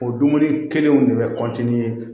O dumuni kelenw de bɛ